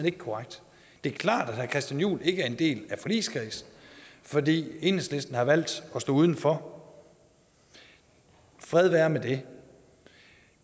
ikke korrekt det er klart at herre christian juhl ikke er en del af forligskredsen fordi enhedslisten har valgt at stå udenfor og fred være med det